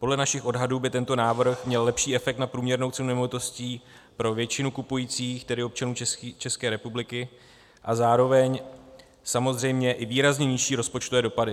Podle našich odhadů by tento návrh měl lepší efekt na průměrnou cenu nemovitostí pro většinu kupujících, tedy občanů České republiky, a zároveň samozřejmě i výrazně nižší rozpočtové dopady.